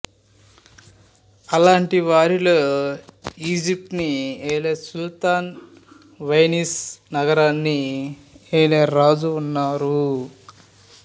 అలాంటి వారిలో ఈజిప్ట్ ని ఏలే సుల్తాను వెనీస్ నగరాన్ని ఏలే రాజు ఉన్నారు